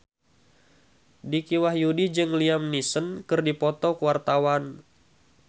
Dicky Wahyudi jeung Liam Neeson keur dipoto ku wartawan